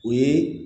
O ye